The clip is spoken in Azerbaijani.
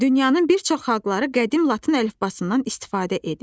Dünyanın bir çox xalqları qədim Latın əlifbasından istifadə edir.